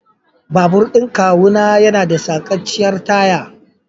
Babur ɗin kawuna yana da sacacciyar taya.